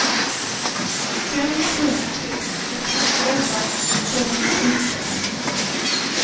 fem sju tre ett elva femhundrasjutton